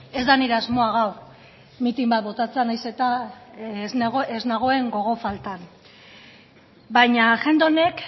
ez da nire asmoa gaur mitin bat botatzea nahiz eta ez nagoen gogo faltan baina agenda honek